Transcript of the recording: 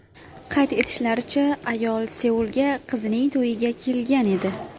Qayd etishlaricha, ayol Seulga qizining to‘yiga kelgan edi.